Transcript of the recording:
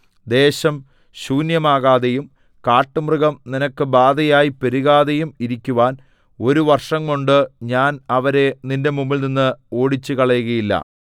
ദേശം ശൂന്യമാകാതെയും കാട്ടുമൃഗം നിനക്ക് ബാധയായി പെരുകാതെയും ഇരിക്കുവാൻ ഒരു വർഷംകൊണ്ട് ഞാൻ അവരെ നിന്റെ മുമ്പിൽനിന്ന് ഓടിച്ചുകളയുകയില്ല